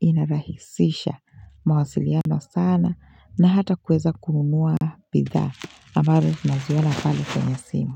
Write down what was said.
inarahisisha mawasiliano sana na hata kuweza kununua bidhaa ambazo naziona pale kwenye simu.